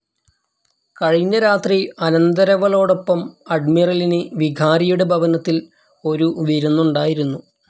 കഴിഞ്ഞ രാത്രി അനന്തരവളോടൊപ്പം അഡ്മിറലിന് വികാരിയുടെ ഭവനത്തിൽ ഒരു വിരുന്നുണ്ടായിരുന്നു.